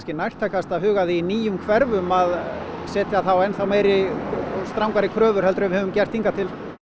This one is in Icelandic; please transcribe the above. nærtækast að huga að því í nýjum hverfum að setja enn þá meiri og strangari kröfur en við höfum gert hingað til